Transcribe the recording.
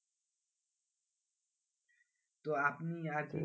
তো আপনি আরকি,